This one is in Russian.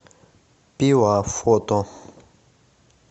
пила фото